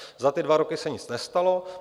Za ty dva roky se nic nestalo.